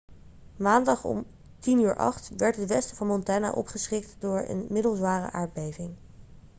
maandag om 10:08 uur werd het westen van montana opgeschrikt door een middelzware aardbeving